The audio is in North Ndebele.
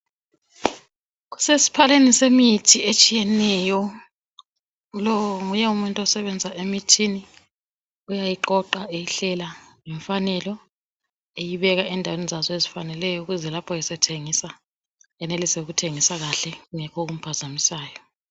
Kusesphaleni semithi etshiyeneyo. Lo nguye umuntu osebenza emithini. Uyayiqoqa eyihlela ngemfanelo eyibeka endaweni zazo ezifaneleyo ukuze lapho esethengisa, enelise ukuthengisa kahle kungekho okuphazamisayo.